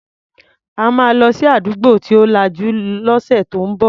A máa lọ sí àdúgbò tí ò lajú lọ́sẹ̀ tó ń bọ̀.